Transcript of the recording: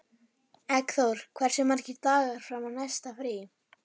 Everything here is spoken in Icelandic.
Eggþór, hversu margir dagar fram að næsta fríi?